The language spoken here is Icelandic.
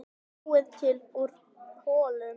Búið til úr kolum!